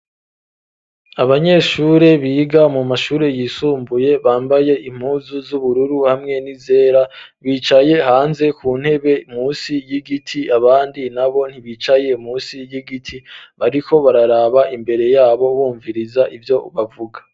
Abanyeshuri biga mu mashuri yisumbuye ,bambaye impuzu z'ubururu, hamwe n'izera, bicaye hanze ku ntebe musi y'igiti ,abandi nabo ntibicaye musi y'igiti bariko bararaba imbere yabo, bumviriza ivyo bavuga.